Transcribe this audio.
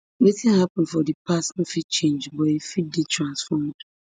wetin happun for di past no fit change but e fit dey transformed